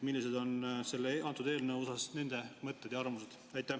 Millised on selle eelnõu kohta nende mõtted ja arvamused?